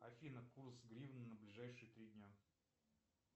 афина курс гривны на ближайшие три дня